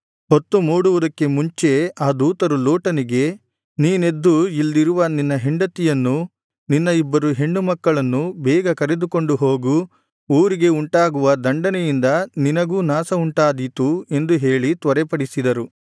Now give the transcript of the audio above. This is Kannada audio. ಹೊತ್ತು ಮೂಡುವುದಕ್ಕೆ ಮುಂಚೆ ಆ ದೂತರು ಲೋಟನಿಗೆ ನೀನೆದ್ದು ಇಲ್ಲಿರುವ ನಿನ್ನ ಹೆಂಡತಿಯನ್ನೂ ನಿನ್ನ ಇಬ್ಬರು ಹೆಣ್ಣುಮಕ್ಕಳನ್ನೂ ಬೇಗ ಕರೆದುಕೊಂಡು ಹೋಗು ಊರಿಗೆ ಉಂಟಾಗುವ ದಂಡನೆಯಿಂದ ನಿನಗೂ ನಾಶವುಂಟಾದೀತು ಎಂದು ಹೇಳಿ ತ್ವರೆಪಡಿಸಿದರು